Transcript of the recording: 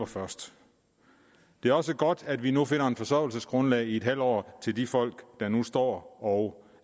først det er også godt at vi nu finder et forsørgelsesgrundlag i en halv år til de folk der nu står og